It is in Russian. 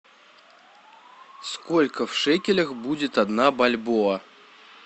сколько в шекелях будет одна бальбоа